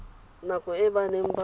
nako e ba neng ba